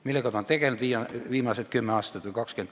Millega ta on tegelenud viimased 10 või 20 aasta?